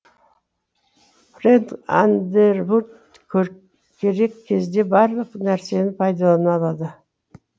френк андервуд керек кезде барлық нарсені пайдалана алады